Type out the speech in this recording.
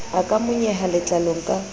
a ka monyeha letlalong ka